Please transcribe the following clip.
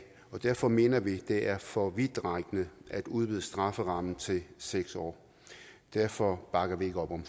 og derfor mener vi det er for vidtrækkende at udvide strafferammen til seks år derfor bakker vi ikke op om